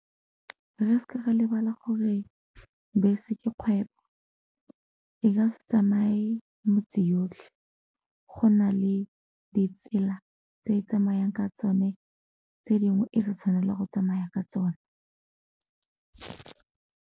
Re seke ra lebala gore bese ke kgwebo, e ka se tsamaye motse yotlhe go na le ditsela tse e tsamayang ka tsone tse dingwe e sa tshwanela go tsamaya ka tsone.